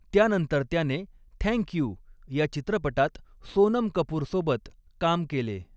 त्यानंतर त्याने 'thank you' या चित्रपटात सोनम कपूरसोबत काम केले.